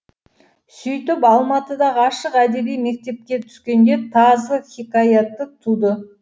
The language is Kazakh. сөйтіп алматыдағы ашық әдеби мектепке түскенде тазы хикаяты туды